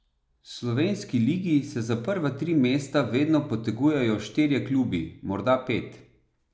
V slovenski ligi se za prva tri mesta vedno potegujejo štirje klubi, morda pet.